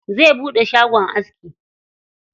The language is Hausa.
Zai buɗe shagon aski.